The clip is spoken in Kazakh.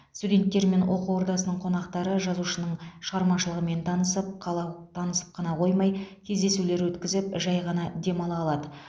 студенттер мен оқу ордасының қонақтары жазушының шығармашылығымен танысып қала танысып қана қоймай кездесулер өткізіп жәй ғана демала алады